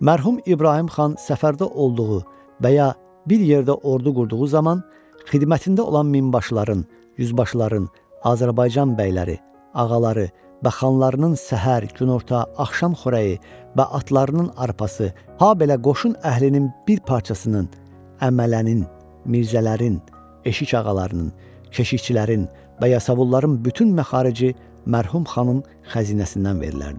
Mərhum İbrahim xan səfərdə olduğu və ya bir yerdə ordu qurduğu zaman xidmətində olan minbaşıların, yüzbaşıların, Azərbaycan bəyləri, ağaları və xanlarının səhər, günorta, axşam xörəyi və atlarının arpası, habelə qoşun əhlinin bir parçasının, əmələnin, mirzələrin, eşik ağalarının, keşişçilərin və yasavulların bütün məxarici mərhum xanın xəzinəsindən verilərdi.